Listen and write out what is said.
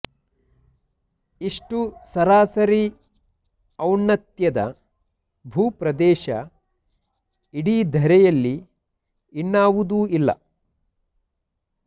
ಇಷ್ಟು ಸರಾಸರಿ ಔನ್ನತ್ಯದ ಭೂಪ್ರದೇಶ ಇಡೀ ಧರೆಯಲ್ಲಿ ಇನ್ನಾವುದೂ ಇಲ್ಲ